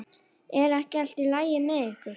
Er ekki allt í lagi með ykkur?